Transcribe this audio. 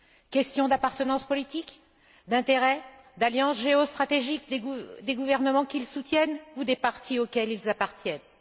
Question d'appartenance politique, d'intérêt, d'alliance géostratégique des gouvernements qu'ils soutiennent ou des partis auxquels ils appartiennent?